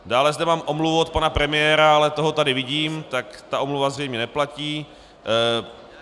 Dále zde mám omluvu od pana premiéra, ale toho tady vidím, tak ta omluva zřejmě neplatí.